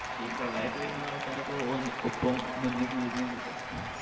ക്ഷേ ഈ പ്രളയൊക്കെ വരുമ്പോ ആൾക്കാരൊക്കെ ഒന്ന് ഒപ്പം നിന്ന് കൂടണ്ണ്ട് ട്ടോ